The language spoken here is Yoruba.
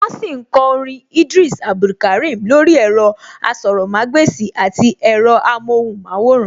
Wọ́n sì ń kọ orin Idris Abdulkarim lórí ẹ̀rọ-asọ̀rọ̀mágbèsì àti ẹ̀rọ-amọ́hùnmáwòrán